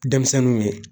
Denmisɛnninw ye